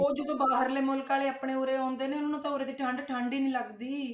ਉਹ ਜਦੋਂ ਬਾਹਰਲੇ ਮੁਲਕ ਵਾਲੇ ਆਪਣੇ ਉਰੇ ਆਉਂਦੇ ਨੇ ਉਹਨਾਂ ਨੂੰ ਤਾਂ ਉਰੇ ਦੀ ਠੰਢ ਠੰਢ ਹੀ ਨੀ ਲੱਗਦੀ।